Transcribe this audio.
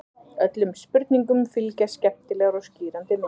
Öllum spurningum fylgja skemmtilegar og skýrandi myndir.